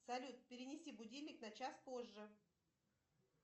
салют перенеси будильник на час позже